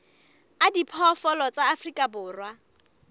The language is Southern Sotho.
a diphoofolo tsa afrika borwa